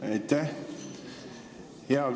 Aitäh!